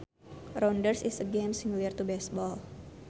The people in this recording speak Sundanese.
Rounders is a game similar to baseball